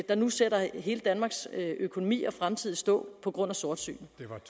der nu sætter hele danmarks økonomi og fremtid i stå på grund af sortsyn